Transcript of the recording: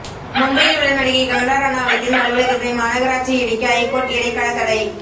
மும்பையில் உள்ள நடிகை கங்கனா ரனாவத்தின் அலுவலகத்தை மாநகராட்சி இடிக்க ஐகோர்ட் இடைக்கால தடை